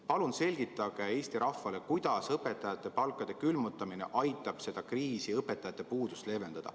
Palun selgitage Eesti rahvale, kuidas õpetajate palkade külmutamine aitab seda kriisi, õpetajate puudust, leevendada.